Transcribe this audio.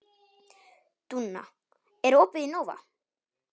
Dúnna, er opið í Nova?